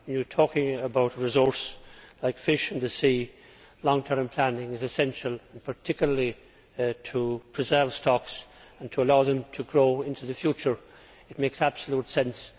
When you are talking about a resource like fish in the sea, long term planning is essential, particularly to preserve stocks and to allow them to grow into the future. It makes absolute sense.